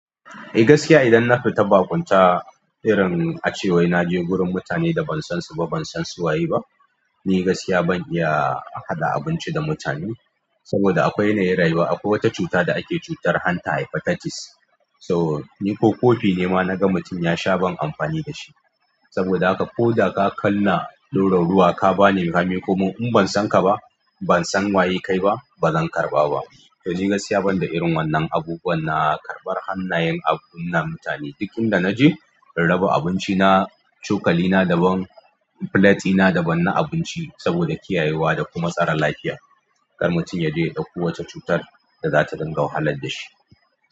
Eh gaskiya idan na fita baƙunta irin a ce wai na je gurin mutane da ban san su ba, ban san su waye ba. Ni gaskiya ban iya haɗa abinci da mutane saboda akwai yanayin rayuwa. Akwai wata cuta da ake cutar hanta haifa tartis. To ni ko kofi ne ma naga mutum ya sha ban amfani da shi saboda haka ko da ka kunna ɗurar ruwa ka bani ka miƙomini in ban san ka ba, ban san waye kai ba, ba zan karɓa ba. To ni gaskiya ban da irin wannan abubuwan na karɓar hannayen abu na mutane. Duk inda naje raba abinci na, cokali na daban, filati na daban na abinci saboda kiyayewa da kuma tsaron lafiya. Kar mutum ya je ya ɗauko wata cutar da za ta dinga wahalar da shi.